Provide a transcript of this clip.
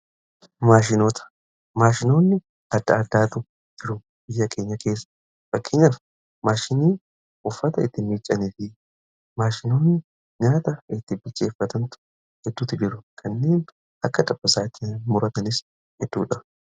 maashinoota, maashinoonni adda addaatu jiru biyya keenya keessa fakkeenyaaf maashinii uffata itti miiccanii fi maashinoonni nyaata itti bicheeffatantu hedduutti jiru kanneen akka dabasaatii muratanis hedduudha.